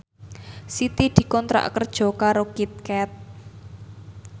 Siti dikontrak kerja karo Kit Kat